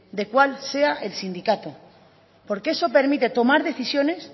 de cual sea el sindicato porque eso permite tomar decisiones